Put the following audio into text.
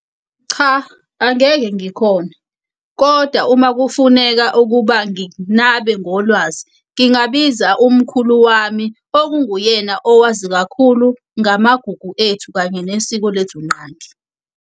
Cha angeke ngikhone, koda uma kufuneka ukuba nginabe ngolwazi ngingabiza umkhulu wami okunguyena owazi kakhulu ngamagugu ethu kanye nesiko lethu nqangi.